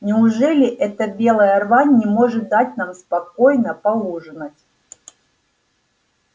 неужели эта белая рвань не может дать нам спокойно поужинать